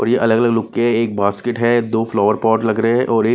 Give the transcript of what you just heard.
अलग-अलग लुक के एक बास्केट है दो फ्लावर पॉट लग रहे हैं और--